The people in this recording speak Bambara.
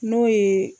N'o ye